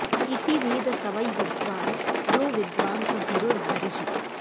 इति वेद स वै विद्वान् यो विद्वान् स गुरुर्हरिः